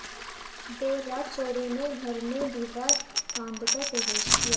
देर रात चोरों ने घर में दीवार फांदकर प्रवेश किया